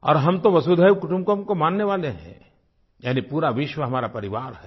और हम तो वसुधैव कुटुम्बकम को मानने वाले हैं यानि पूरा विश्व हमारा परिवार है